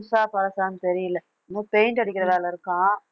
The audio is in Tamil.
புதுசா பழசான்னு தெரியலே இன்னும் paint அடிக்கிற வேலை இருக்காம்